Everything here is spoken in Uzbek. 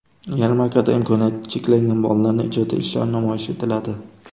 Yarmarkada imkoniyati cheklangan bolalarning ijodiy ishlari namoyish etiladi.